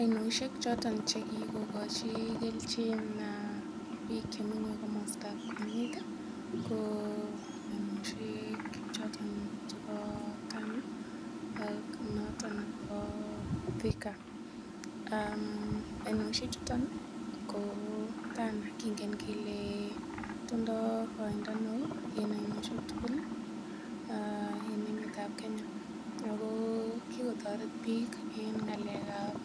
Oinoshek choto che kigokochi kelchin biik chemenye komostab oinet ko oinoshek choto chebo Tana ak noton nebo Thika. Oinoshek chuto ko Tana kingen kele tindo koindo neo en oinoshek tugul en emetab Kenya. Ago kigotoret biik en ng'alekab